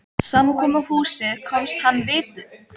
Samkomuhúsið komst hann vitaskuld ekki á skrána.